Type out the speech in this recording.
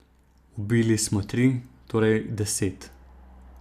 Ubili smo tri, torej deset.